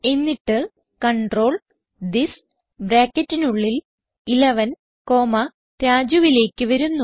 എന്നിട്ട് control this ബ്രാക്കറ്റിനുള്ളിൽ 11 comma Rajuലേക്ക് വരുന്നു